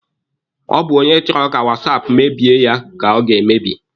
Ọ bụ onye chọrọ ka wasaapụ mebie ya ka ọ ga-emebi.